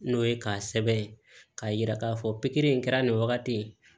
N'o ye k'a sɛbɛn k'a yira k'a fɔ pikiri in kɛra nin wagati ye